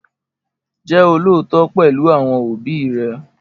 Jẹ́ olóòótọ́ pẹ̀lú àwọn òbí rẹ